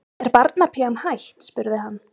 Er barnapían hætt? spurði hann.